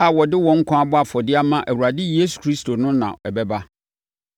a wɔde wɔn nkwa abɔ afɔdeɛ ama Awurade Yesu Kristo no na ɛbɛba.